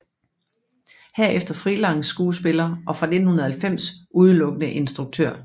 Herefter freelance skuespiller og fra 1990 udelukkende instruktør